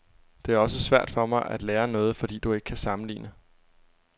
Det er også svært for mig at lære noget, fordi du ikke kan sammenligne.